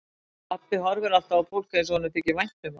Pabbi horfir alltaf á fólk eins og honum þyki vænt um það.